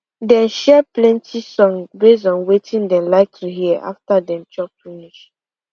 dem share plenty songs base on wetin dem like to hear after them chop finish